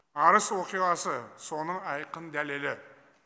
арыс оқиғасы соның айқын дәлелі